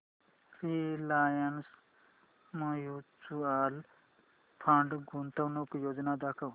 Reliance mutual fund गुंतवणूक योजना दाखव